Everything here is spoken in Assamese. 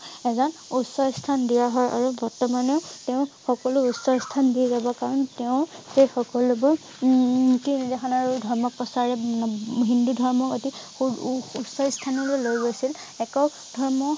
এজন উচ্চ স্থান দিয়া হয় আৰু বৰ্তমানেও তেওঁ সকলো উচ্চ স্থান দি ৰব কাৰণ তেওঁ সেই সকলোবোৰ উম আৰু ধৰ্ম প্ৰচাৰ উম উম হিন্দু ধৰ্ম অতি ও~ ও~ও উচ্চ স্থানলৈ লৈ গৈছিল একক ধৰ্ম